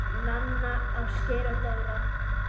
Nanna, Ásgeir og Dóra